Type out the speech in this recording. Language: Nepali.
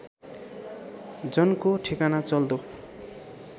जनको ठेगाना चल्दो